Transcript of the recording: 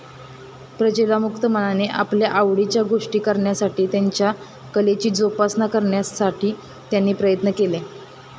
प्रजेला मुक्त मनाने आपल्या आवडीच्या गोष्टी करण्यासाठी, त्यांच्या कलेची जोपासना करण्यासाठी त्यांनी प्रयत्न केले.